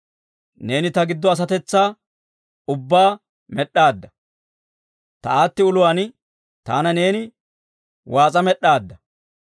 Neeni ta giddo asatetsaa ubbaa med'd'aadda; ta aatti uluwaan taana neeni waas'a med'aadda.